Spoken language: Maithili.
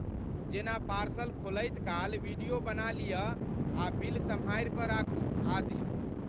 जेना पार्सल खोलैत काल वीडियो बना लिअ आ बिल सम्हारि कऽ राखू आदि।